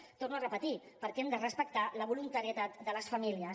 ho torno a repetir perquè hem de respectar la voluntarietat de les famílies